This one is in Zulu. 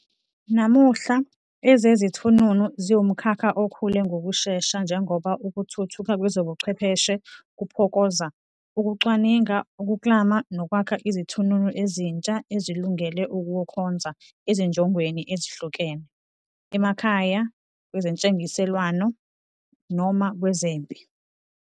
Namuhla, ezezithununu ziwumkhakha okhula ngokushesha njengoba ukuthuthuka kwezobuchwepheshe kuphokoza, ukucwaninga, ukuklama, nokwakha izithununu ezintsha ezilungele ukukhonza ezinjongweni ezihlukene, emakhaya, kwezentengiselwano, noma kwezempi.